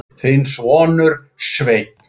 Þinn sonur, Sveinn.